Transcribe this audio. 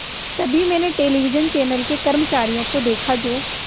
तभी मैंने television channel के कर्मचारियों को देखा जो